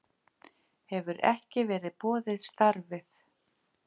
Hefur ekki verið boðið starfið